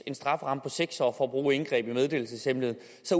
en strafferamme på seks år for at bruge indgreb i meddelelseshemmeligheden